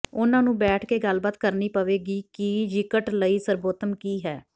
ਉਨ੍ਹਾਂ ਨੂੰ ਬੈਠ ਕੇ ਗੱਲਬਾਤ ਕਰਨੀ ਪਵੇਗੀ ਕਿ ਿਯਕਟ ਲਈ ਸਰਬੋਤਮ ਕੀ ਹੈ